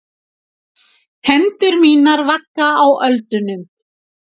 Hendur mínar vagga á öldunum.